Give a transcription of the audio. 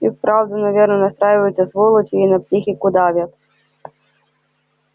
и вправду наверное настраиваются сволочи и на психику давят